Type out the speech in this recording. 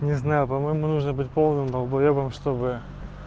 не знаю по-моему нужно быть полным долбаебом чтобы